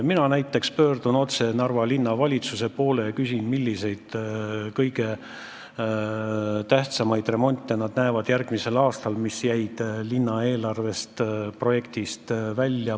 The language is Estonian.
Mina näiteks pöördun otse Narva Linnavalitsuse poole ja küsin, millised on kõige tähtsamad remondid, mida nad järgmisel aastal näevad ja mis jäid linna eelarveprojektist välja.